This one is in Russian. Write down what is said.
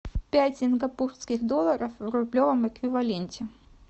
пять сингапурских долларов в рублевом эквиваленте